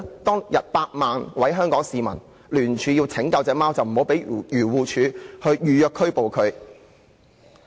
當天，有百萬位香港市民聯署拯救波子，要求漁護署不要預約拘捕牠。